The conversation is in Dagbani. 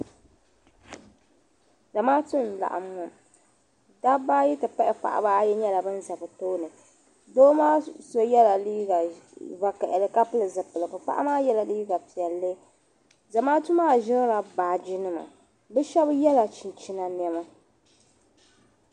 Zamaatu n laɣim ŋɔ dabbaayi ti pahi paɣabaayi nyela ban za bɛ tooni doo maa so yela liiga vokaɣili ka pili zipiligu paɣa maa ye liiga piɛlli zamaatu maa ʒirila baaginima bɛ chɛbi yela chinchina nɛma.